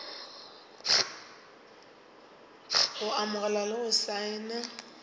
go amogela le go saena